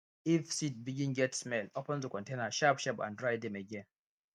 if seed begin get smell open the container sharpsharp and dry dem again